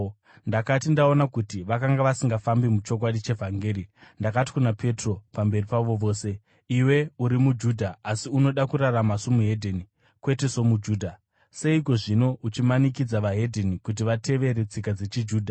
Ndakati ndaona kuti vakanga vasingafambi muchokwadi chevhangeri, ndakati kuna Petro pamberi pavo vose, “Iwe uri muJudha, asi unoda kurarama somuHedheni, kwete somuJudha. Seiko, zvino, uchimanikidza veDzimwe Ndudzi kuti vatevere tsika dzechiJudha?